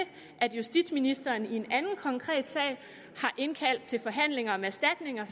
at justitsministeren i en anden konkret sag har indkaldt til forhandlinger om erstatninger